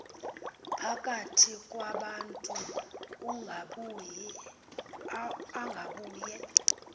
phakathi kwabantu ungabuye